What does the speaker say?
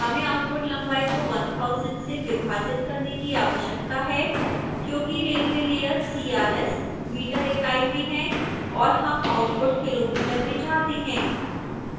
हमें आउटपुट लंबाई को 1000 से विभाजित करने की आवश्यकता है क्योंकि railway लेयर crs मीटर इकाई में है और हम आउटपुट किलो मीटर में चाहते हैं